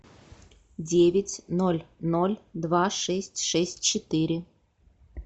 девять ноль ноль два шесть шесть четыре